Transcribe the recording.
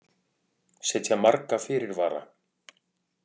Setja marga fyrirvara